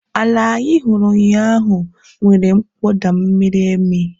Ala anyị hụrụ ụnyahụ nwere mkpọda miri emi